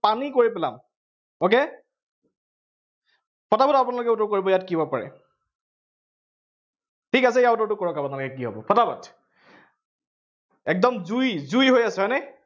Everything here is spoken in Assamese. পানী কৰি পেলাম। okay পটাপট আপোনালোকে উত্তৰটো কৰিব, ইয়াত কি হব পাৰে ঠিক আছে, ইয়াৰ উত্তৰটো কৰক আপোনালোকে কি হব পটাপট একদম জুই জুই হৈ আছে হয় নে?